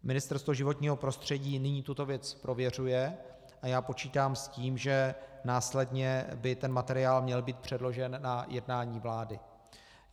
Ministerstvo životního prostředí nyní tuto věc prověřuje a já počítám s tím, že následně by ten materiál měl být předložen na jednání vlády.